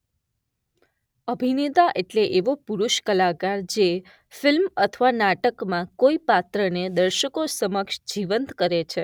અભિનેતા એટલે એવો પુરૂષ કલાકાર જે ફિલ્મ અથવા નાટકમાં કોઈ પાત્રને દર્શકો સમક્ષ જીવંત કરે છે.